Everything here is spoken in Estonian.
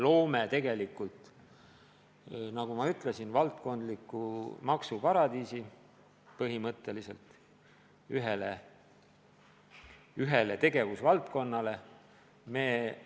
Põhimõtteliselt me loome, nagu ma ütlesin, ühele tegevusvaldkonnale maksuparadiisi.